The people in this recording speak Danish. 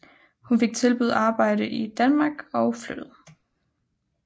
Hun fik tilbudt arbejde i Danmark og flyttede